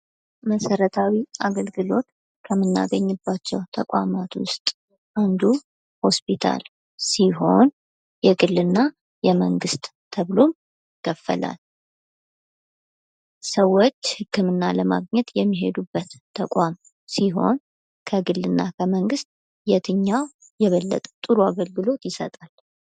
መሰረታዊ አገልግሎት ከምናገኝባቸው ተቋማት ውስጥ አንዱ ሆስፒታል ሲሆን፤ የግልና የመንግሥት ተብሎ ይከፈላል። ሰዎች ህክምና ለማግኘት የሚሄዱበት ተቋም ሲሆን ፤ ከግልና ከመንግስት የትኛው የበለጠ ጥሩ አገልግሎት ይሰጣል።